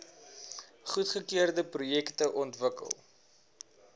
goedgekeurde projekte ontwikkel